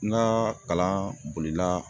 N ka kalan bolila